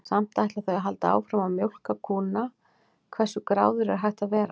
Samt ætla þau að halda áfram að mjólka kúnna, hversu gráðugur er hægt að vera?